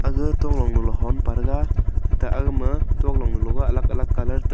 aga tolong hun pathega ga aga ma tolong long bu alag alag kalar .